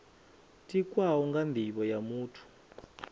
tikwaho nga nivho ya muthu